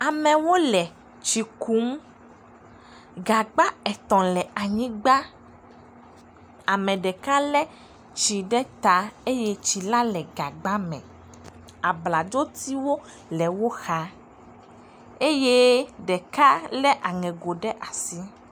Amewo le tsi kum. Gagba etɔ̃ le anyigba. Ame ɖeka le tsi ɖe ta eye tsi la le gagba me. Abladzo tiwo le woxa eye ɖeka le aŋego ɖe asi.